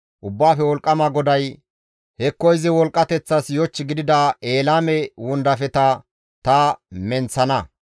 Ubbaafe wolqqama GODAY, «Hekko izi wolqqateththas yoch gidida Elaame wondafeta ta menththana.